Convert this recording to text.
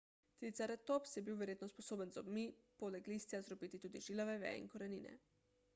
triceratops je bil verjetno sposoben z zobmi poleg listja zdrobiti tudi žilave veje in korenine